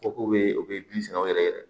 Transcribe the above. Ko k'u bɛ u bɛ bin sɛngɛw yɛrɛ